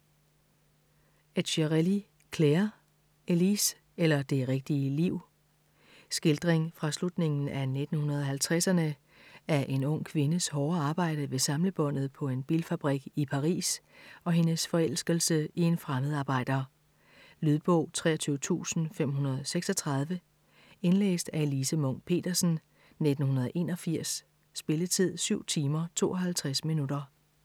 Etcherelli, Claire: Elise eller det rigtige liv Skildring fra slutningen af 1950'erne af en ung kvindes hårde arbejde ved samlebåndet på en bilfabrik i Paris og hendes forelskelse i en fremmedarbejder. Lydbog 23536 Indlæst af Elise Munch-Petersen, 1981. Spilletid: 7 timer, 52 minutter.